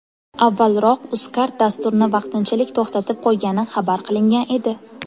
Avvalroq UzCard dasturni vaqtinchalik to‘xtatib qo‘ygani xabar qilingan edi.